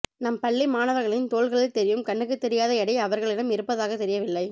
நம் பள்ளி மாணவர்களின் தோள்களில் தெரியும் கண்ணுக்குத்தெரியாத எடை அவர்களிடம் இருப்பதாகத் தெரியவில்லை